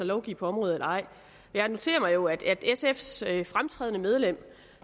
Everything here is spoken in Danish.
lovgive på området eller ej jeg noterer mig jo at sfs fremtrædende medlem